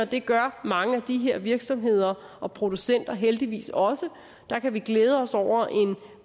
det gør mange af de her virksomheder og producenter heldigvis også og der kan vi glæde os over en